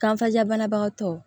Kanfajabanabagatɔ